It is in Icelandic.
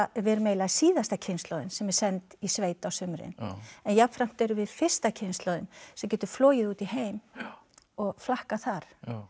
við erum eiginlega síðasta kynslóðin sem er send í sveit á sumrin en jafnframt erum við fyrsta kynslóðin sem getur flogið út í heim og flakkað þar